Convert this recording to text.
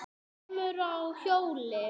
kemurðu á hjóli?